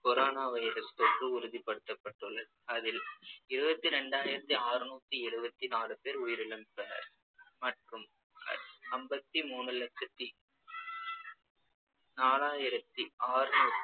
corona virus தொற்று உறுதிப்படுத்தப்பட்டுள்ளது அதில் இருபத்தி ரெண்டாயிரத்தி அறுநூத்தி எழுபத்தி நாலு பேர் உயிரிழந்துள்ளனர் மற்றும் அம்பத்தி மூணு லட்சத்தி நாலாயிரத்தி அறுநூறு